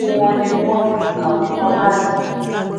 gbogbo wọn ni wọ́n ti kàwé tán báyìí